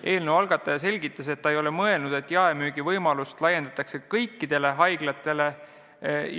Eelnõu algataja selgitas, et mõte pole selline, et jaemüügivõimalust laiendatakse kõigile haiglatele